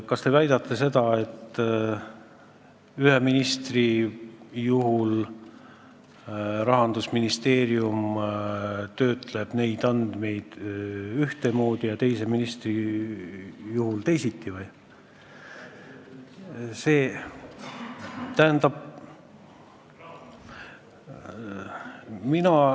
Kas te väidate seda, et ühe ministri puhul töötleb Rahandusministeerium neid andmeid ühtemoodi ja teise ministri puhul teisiti?